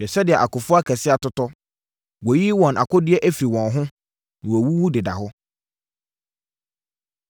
“Hwɛ sɛdeɛ akofoɔ akɛseɛ atotɔ! Wɔayiyi wɔn akodeɛ afiri wɔn ho, na wɔawuwu deda hɔ.”